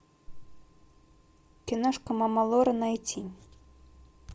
киношка мама лора найти